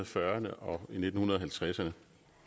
fyrrerne og nitten halvtredserne